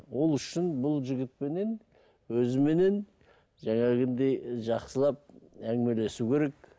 ол үшін бұл жігітпенен өзіменен жақсылап әңігемелесу керек